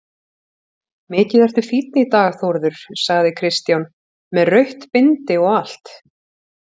Mikið ertu fínn í dag Þórður, sagði Kristján, með rautt bindi og allt.